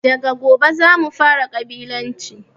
Daga gobe zamu fara ƙabilanci